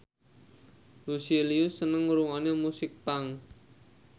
Lucy Liu seneng ngrungokne musik punk